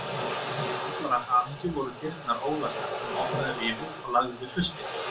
Til allrar hamingju voru dyrnar ólæstar, hann opnaði rifu og lagði við hlustir.